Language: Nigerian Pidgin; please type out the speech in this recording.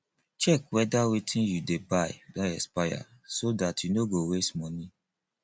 check weda wetin you dey buy don expire so dat you no go waste money